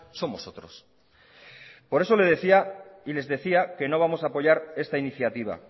somos otros por eso les decía que no vamos a apoyar esta iniciativa